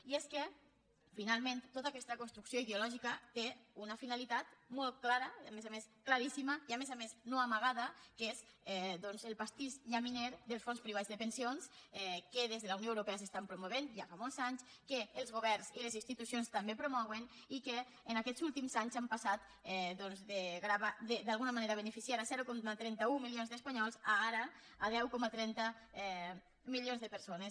i és que finalment tota aquesta construcció ideològica té una finalitat molt clara claríssima i a més a més no amagada que és el pastís llaminer dels fons privats de pensions que des de la unió europea es promouen ja fa molts anys que els governs i les institucions també promouen i que en aquests últims anys han passat d’alguna manera de beneficiar zero coma trenta un milions d’espanyols a ara deu coma trenta milions de persones